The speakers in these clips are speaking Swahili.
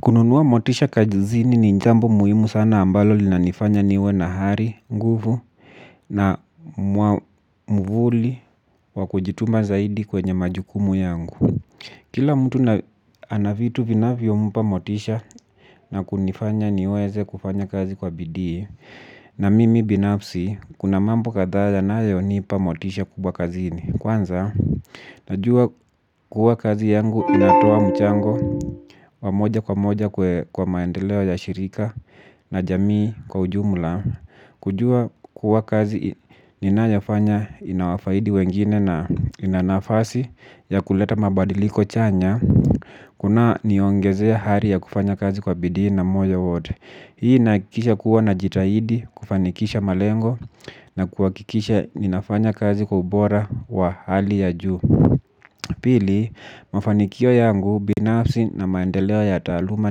Kununuwa motisha kazini ni jambo muhimu sana ambalo linanifanya niwe na ari nguvu na mwamvuli wa kujituma zaidi kwenye majukumu yangu. Kila mtu anavitu vinavyompa motisha na kunifanya niweze kufanya kazi kwa bidii na mimi binafsi kuna mambo kadhaa yanayonipa motisha kubwa kazini. Kwanza, najua kuwa kazi yangu inatoa mchango wa moja kwa moja kwa maendeleo ya shirika na jamii kwa ujumla. Kujua kuwa kazi ninayofanya inawafaidi wengine na ina nafasi ya kuleta mabadiliko chanya. Kuna niongezea ari ya kufanya kazi kwa bidii na moja wote. Hii inakikisha kuwa najitahidi kufanikisha malengo na kuhakikisha ninafanya kazi kwa ubora wa hali ya juu. Pili, mafanikio yangu binafsi na maendeleo ya taaluma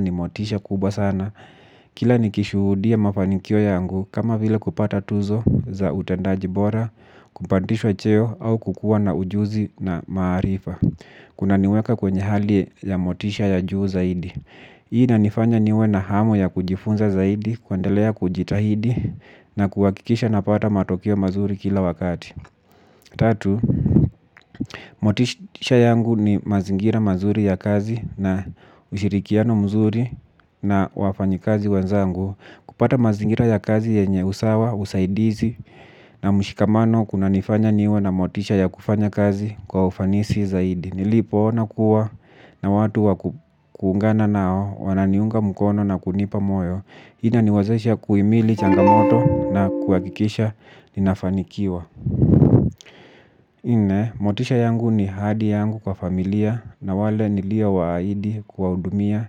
ni motisha kubwa sana. Kila nikishudia mafanikio yangu kama vile kupata tuzo za utendaji bora, kupandishwa cheo au kukua na ujuzi na maarifa. Kunaniweka kwenye hali ya motisha ya juu zaidi. Hii inanifanya niwe na hamu ya kujifunza zaidi, kuendelea kujitahidi na kuhakikisha napata matokeo mazuri kila wakati. Tatu, motisha yangu ni mazingira mazuri ya kazi na ushirikiano mzuri na wafanyikazi wenzangu. Kupata mazingira ya kazi yenye usawa, usaidizi na mshikamano kunanifanya niwe na motisha ya kufanya kazi kwa ufanisi zaidi. Nilipoona kuwa na watu wa kuungana nao wananiunga mkono na kunipa moyo. Hii inaniwezesha kuhimili changamoto na kuhakikisha ninafanikiwa. Nne motisha yangu ni ahadi yangu kwa familia na wale niliowaahidi kuwahudumia.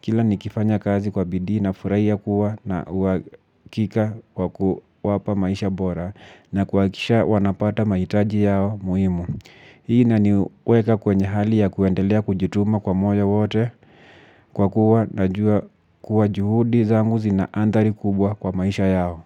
Kila nikifanya kazi kwa bidii nafurahi kuwa na uhakika kwa kuwapa maisha bora. Na kuhakisha wanapata mahitaji yao muhimu. Hii inaniweka kwenye hali ya kuendelea kujituma kwa moyo wote kwa kuwa tunajua kuwa juhudi zangu zina andhari kubwa kwa maisha yao.